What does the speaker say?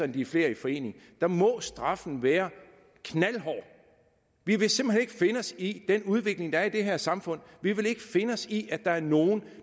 de er flere i forening må straffen være knaldhård vi vil simpelt hen ikke finde os i den udvikling der er i det her samfund vi vil ikke finde os i at der er nogen